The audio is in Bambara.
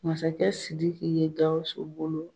Masakɛ Sidiki ye Gawusu bolo